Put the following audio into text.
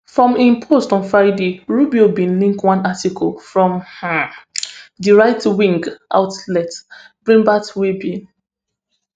for im post on friday rubio bin link one article from um di rightwing outlet breitbart wey bin